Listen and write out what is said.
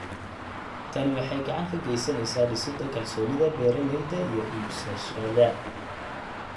Tani waxay gacan ka geysaneysaa dhisidda kalsoonida beeralayda iyo iibsadayaasha.